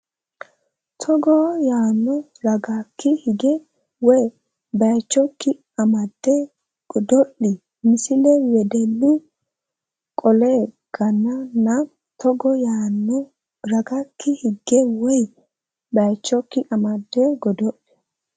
Togo yaano ragakki higge woy baychokki amadde godo li Misile Wedellu Qollee ga nanna Togo yaano ragakki higge woy baychokki amadde godo li.